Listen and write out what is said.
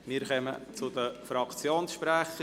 Wir kommen zu den Fraktionssprechern.